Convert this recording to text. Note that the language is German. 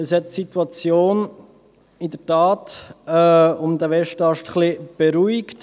Das hat die Situation um den Westast in der Tat etwas beruhigt.